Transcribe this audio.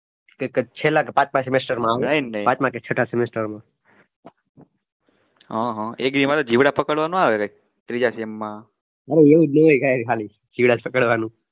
એક જ છેલ્લા કે પાંચમાં માંં આવે ને પાંચમા કે છટ્ઠા